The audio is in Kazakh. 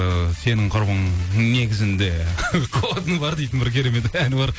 ііі сенің құрбың негізінде қуатыны бар дейтін бір керемет әні бар